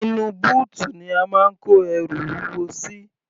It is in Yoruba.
Inú bóòtù ni a máa ń kó ẹrù wúwo sí.